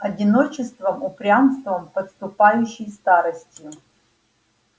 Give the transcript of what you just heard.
одиночеством упрямством подступающей старостью